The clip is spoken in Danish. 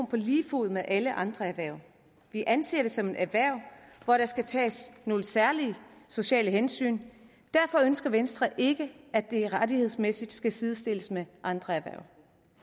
på lige fod med alle andre erhverv vi anser det som et erhverv hvor der skal tages nogle særlige sociale hensyn derfor ønsker venstre ikke at det rettighedsmæssigt skal sidestilles med andre erhverv